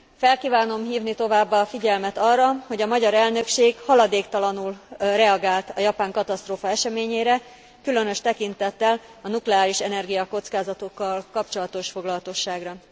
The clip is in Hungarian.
Fel kívánom hívni továbbá a figyelmet arra, hogy a magyar elnökség haladéktalanul reagált a japán katasztrófa eseményére, különös tekintettel a nukleárisenergia kockázatokkal kapcsolatos foglalatosságra.